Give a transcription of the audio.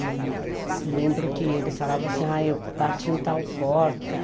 E eu lembro que eles falavam assim, ah, eu bati em tal porta.